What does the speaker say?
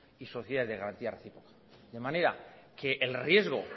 y sociedad de garantía recíproca de manera que el riesgo